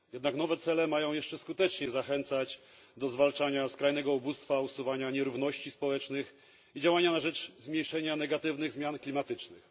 Jednak nowe cele mają jeszcze skuteczniej zachęcać do zwalczania skrajnego ubóstwa, usuwania nierówności społecznych i działania na rzecz zmniejszenia negatywnych zmian klimatycznych.